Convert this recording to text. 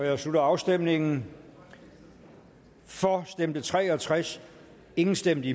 jeg slutter afstemningen for stemte tre og tres imod stemte